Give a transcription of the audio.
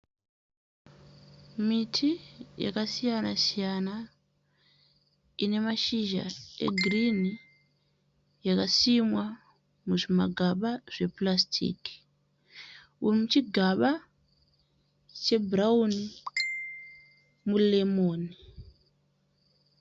Miti yakasiyana siyana ine mashizha egirinhi. Yakasimwa muzvimagaba zvepurasitiki. Uri muchigaba chebhurawuni muremoni.